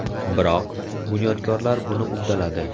Biroq, bunyodkorlar buni uddaladi.